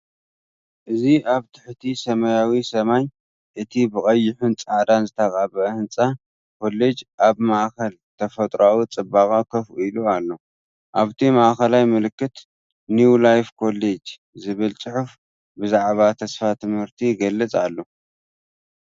እዚ ኣብ ትሕቲ ሰማያዊ ሰማይ፡ እቲ ብቐይሕን ጻዕዳን ዝተቐብአ ህንጻ ኮለጅ ኣብ ማእከል ተፈጥሮኣዊ ጽባቐ ኮፍ ኢሉ ኣሎ፤ ኣብቲ ማእከላይ ምልክት "ኒው ላይፍ ኮሌጅ" ዝብል ጽሑፍ ብዛዕባ ተስፋ ትምህርቲ ይገልፅ ኣሎ።